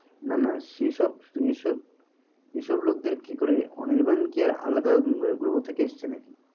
না না সেসব, সেসব এইসব লোকদের কিকরে অনির্বাণ কি আলাদা গ্রহ থেকে এসেছে নাকি?